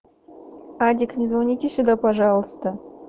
адик не звоните сюда пожалуйста